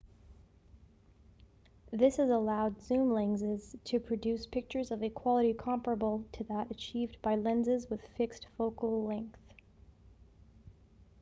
this has allowed zoom lenses to produce pictures of a quality comparable to that achieved by lenses with fixed focal length